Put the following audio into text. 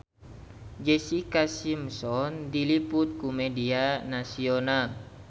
Jessica Simpson diliput ku media nasional